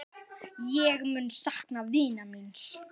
Ég mun sakna vinar míns.